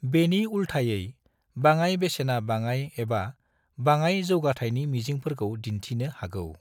बेनि उल्टायै, बाङाइ बेसेना बाङाइ एबा बाङाइ जोगाथाइनि मिजिंफोरखौ दिन्थिनो हागौ।